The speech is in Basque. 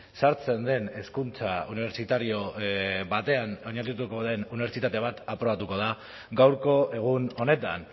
sartzen den hezkuntza unibersitario batean oinarrituko den unibertsitate bat aprobatuko da gaurko egun honetan